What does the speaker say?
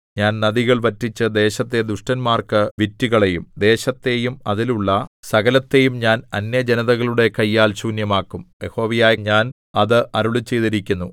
ഞാൻ നദികൾ വറ്റിച്ച് ദേശത്തെ ദുഷ്ടന്മാർക്കു വിറ്റുകളയും ദേശത്തെയും അതിലുള്ള സകലത്തെയും ഞാൻ അന്യജനതകളുടെ കയ്യാൽ ശൂന്യമാക്കും യഹോവയായ ഞാൻ അത് അരുളിച്ചെയ്തിരിക്കുന്നു